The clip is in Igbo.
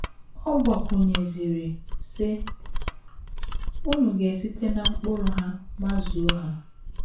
Ọ gbakwụnyeziri, sị: “ Unu ga - esite ná mkpụrụ ha mazuo ha. ”